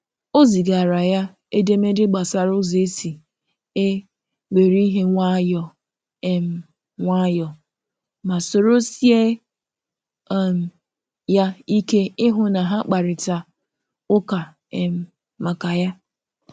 O zigara ya edemede gbasara ụzọ esi e were ihe nwayọọ um nwayọọ, ma soro sie um ya ike ịhụ na ha kparịta ụka um maka ya.